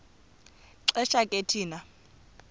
xesha ke thina